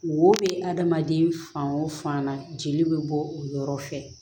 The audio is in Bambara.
Wo bɛ adamaden fan o fan na jeli bɛ bɔ o yɔrɔ fɛ